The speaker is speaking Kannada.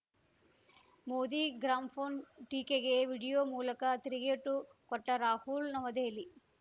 ಮೋದಿ ಗ್ರಾಮ್ ಫೋನ್‌ ಟೀಕೆಗೆ ವಿಡಿಯೋ ಮೂಲಕ ತಿರುಗೇಟು ಕೊಟ್ಟರಾಹುಲ್‌ ನವದೆಹಲಿ